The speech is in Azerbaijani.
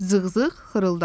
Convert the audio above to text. Zığzığ xırıldadı.